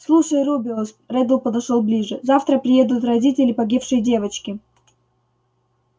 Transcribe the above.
слушай рубеус реддл подошёл ближе завтра приедут родители погибшей девочки